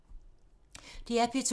DR P2